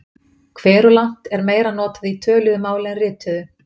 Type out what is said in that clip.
Kverúlant er meira notað í töluðu máli en rituðu.